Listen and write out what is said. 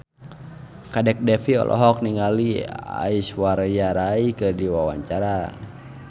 Kadek Devi olohok ningali Aishwarya Rai keur diwawancara